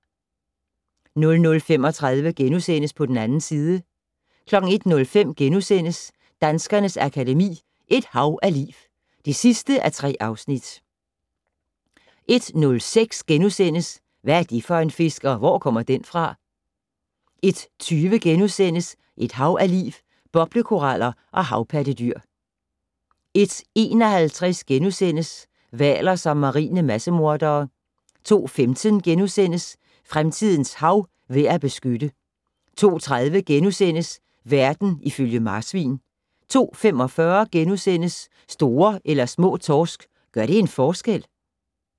00:35: På den 2. side * 01:05: Danskernes Akademi: Et hav af liv (3:3)* 01:06: Hvad er det for en fisk, og hvor kommer den fra? * 01:20: Et hav af liv - Boblekoraller og havpattedyr * 01:51: Hvaler som marine massemordere * 02:15: Fremtidens hav - værd at beskytte * 02:30: Verden ifølge marsvin * 02:45: Store eller små torsk - gør det en forskel? *